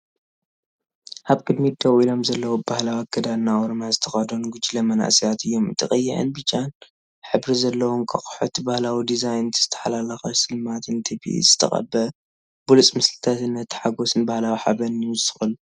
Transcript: ኣብ ቅድሚት ደው ኢሎም ዘለዉ ብባህላዊ ኣከዳድና ኦሮምያ ዝተኸድኑ ጉጅለ መንእሰያት እዮም። እቲ ቀይሕን ብጫን ሕብሪ ዘለዎ እንቋቑሖ፡ እቲ ባህላዊ ዲዛይን፡ እቲ ዝተሓላለኸ ስልማትን እቲ ብኢድ ዝተቐብአ ብሉጽ ምስልታትን ነቲ ሓጐስን ባህላዊ ሓበንን ይውስኸሉ።